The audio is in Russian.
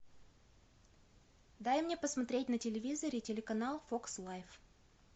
дай мне посмотреть на телевизоре телеканал фокс лайф